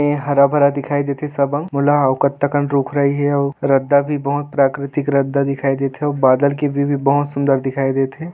ए हरा-भरा दिखाय देत हे सब अंग मोला अऊ कत्ता कन रुख राई हे अऊ रद्दा भी बहुत प्राकृतिक रद्दा दिखाई देत हे अऊ बादल के भी-भी बहुत सुंदर दिखाई देत हे।